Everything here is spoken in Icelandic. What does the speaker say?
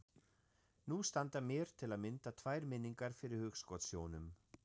Nú standa mér til að mynda tvær minningar fyrir hugskotssjónum.